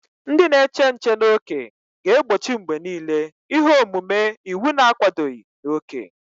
Ndị na-eche nche n'ókè ga-egbochi mgbe niile ihe omume iwu na-akwadoghị na oke.